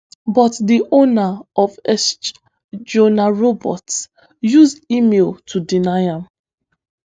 but di owner of exch johann roberts use email to deny am